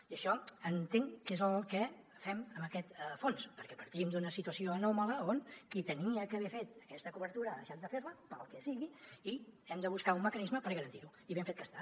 i això entenc que és el que fem amb aquest fons perquè partim d’una situació anòmala on qui havia d’haver fet aquesta cobertura ha deixat de fer la pel que sigui i hem de buscar un mecanisme per garantir ho i ben fet que està